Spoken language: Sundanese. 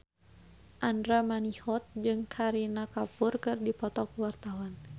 Andra Manihot jeung Kareena Kapoor keur dipoto ku wartawan